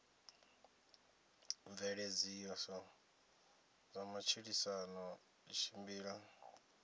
mveledziso ya matshilisano i tshimbila